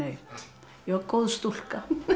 ég var góð stúlka